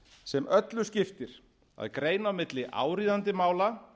sem öllu skiptir að greina á milli áríðandi mála